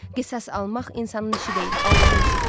Qisas almaq insanın işi deyil, Allahın işidir.